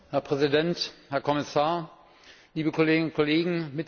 Herr Präsident, Herr Kommissar, liebe Kolleginnen und Kollegen!